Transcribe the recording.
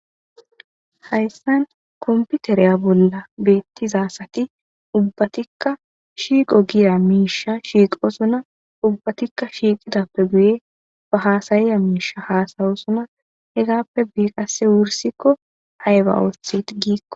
Hayssan komputereya bolla beettizaasati ubbatikka shiiqo giya miisha shiiqo suna ubbatikka shiiqidappe guye ba haasayiya miisha haasayosuna hegappe beiqase wursikko ayba oothit giikko.